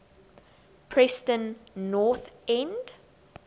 preston north end